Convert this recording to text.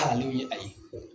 ye a ye.